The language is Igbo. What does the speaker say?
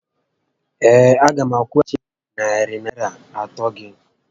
Ee. a gá m akwụghachi gị narị Naịra atọ gị